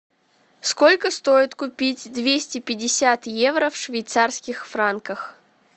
сколько стоит купить двести пятьдесят евро в швейцарских франках